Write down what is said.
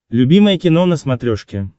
любимое кино на смотрешке